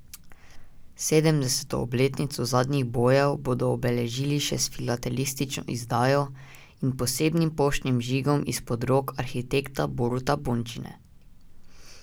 Sedemdeseto obletnico zadnjih bojev bodo obeležili še s filatelistično izdajo in posebnim poštnim žigom izpod rok arhitekta Boruta Bončine.